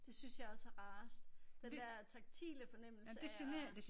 Det synes jeg også er rarest. Den der taktile fornemmelse af at